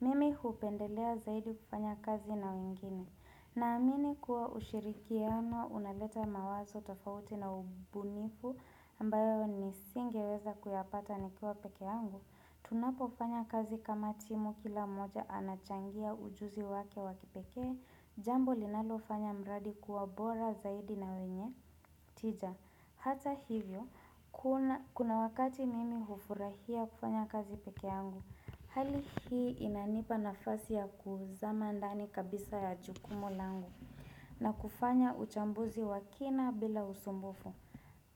Mimi hupendelea zaidi kufanya kazi na wengine. Naamini kuwa ushirikiano unaleta mawazo tofauti na ubunifu ambayo nisingeweza kuyapata nikiwa pekeangu. Tunapo fanya kazi kama timu kila moja anachangia ujuzi wake wa kipekee. Jambo linalofanya mradi kuwa bora zaidi na wenye tija. Hata hivyo, kuna kuna wakati mimi hufurahia kufanya kazi pekeangu. Hali hii inanipa nafasi ya kuzama ndani kabisa ya jukumu langu na kufanya uchambuzi wakina bila usumbufu.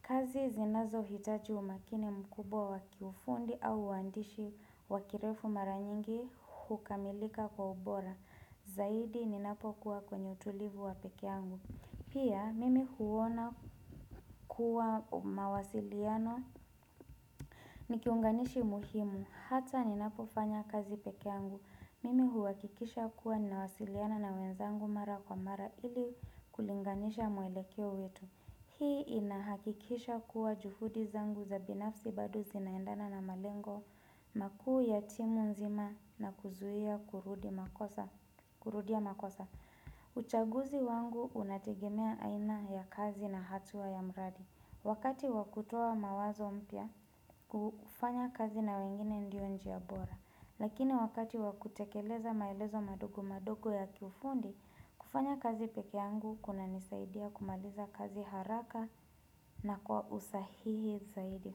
Kazi zinazo hitaji umakini mkubwa wakiufundi au uandishi wakirefu maranyingi hukamilika kwa ubora. Zaidi ninapokua kwenye utulivu wa pekeangu. Pia mimi huona kuwa mawasiliano. Ni kiunganishi muhimu hata ninapo fanya kazi pekeangu. Mimi huakikisha kuwa ninawasiliana na wenzangu mara kwa mara ili kulinganisha mwelekeo wetu Hii inahakikisha kuwa juhudi zangu za binafsi bado zinaendana na malengo makuu ya timu nzima na kuzuia kurudi makosa kurudia makosa uchaguzi wangu unategemea aina ya kazi na hatua ya mradi Wakati wakutoa mawazo mpya, ufanya kazi na wengine ndio njia bora Lakini wakati wakutekeleza maelezo madogo madogo ya kiufundi, kufanya kazi peke yangu kuna nisaidia kumaliza kazi haraka na kwa usahihi zaidi.